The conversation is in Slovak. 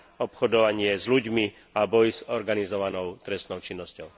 obchodovanie s ľuďmi a boj s organizovanou trestnou činnosťou.